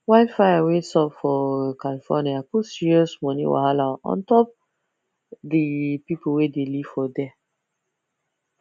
wildfire wey sup for california put serious money wahala untop the people wey dey live for there